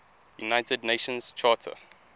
united nations charter